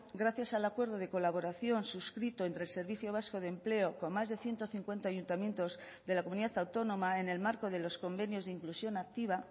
gracias al acuerdo de colaboración suscrito entre el servicio vasco de empleo con más de ciento cincuenta ayuntamientos de la comunidad autónoma en el marco de los convenios de inclusión activa